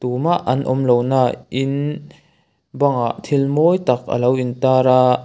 tumah an awm lo nah in bangah thil mawi tak a lo intar a.